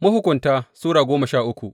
Mahukunta Sura goma sha uku